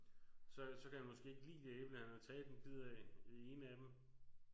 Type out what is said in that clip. Så så kan han måske ikke lide det æble han har taget en bid af det ene af dem